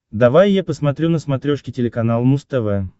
давай я посмотрю на смотрешке телеканал муз тв